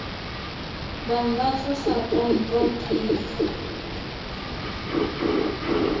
bang ba tlosa pompo pele